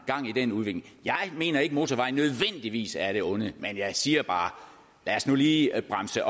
gang i den udvikling jeg mener ikke at motorveje nødvendigvis er af det onde men jeg siger bare lad os nu lige bremse